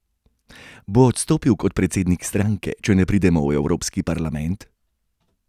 Bo odstopil kot predsednik stranke, če ne pride v Evropski parlament?